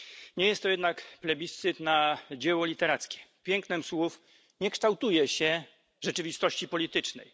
Nie jest to jednak plebiscyt na dzieło literackie pięknem słów nie kształtuje się rzeczywistości politycznej.